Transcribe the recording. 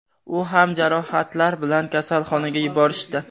U ham jarohatlar bilan kasalxonaga yuborishdi.